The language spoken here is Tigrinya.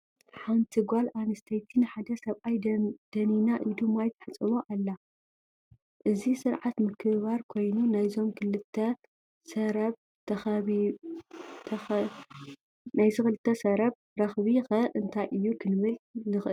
ሓንቲ ጓል ኣንስተይቲ ንሓደ ሰብኣይ ደኒና ኢዱ ማይ ተሕፅቦ ኣላ፡፡ እዚ ስርዓት ምክብባር ኮይኑ ናይዞም ክልተ ሰረብ ረኽቢ ኸ እንታይ እዩ ክንብል ንኽእል?